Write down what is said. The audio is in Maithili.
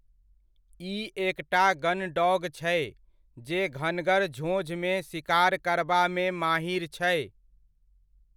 ई एकटा गनडॉग छै जे घनघर झोंझमे सिकार करबामे माहिर छै।